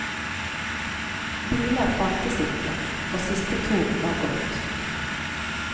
Biler fantes ikke, og siste tog var gått.